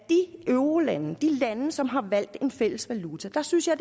eurolande i de lande som har valgt en fælles valuta synes jeg